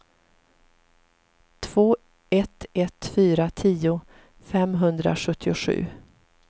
två ett ett fyra tio femhundrasjuttiosju